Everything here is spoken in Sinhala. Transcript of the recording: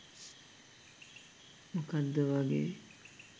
මොකද්ද වගේ